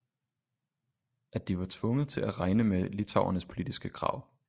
At de var tvunget til at regne med litauernes politiske krav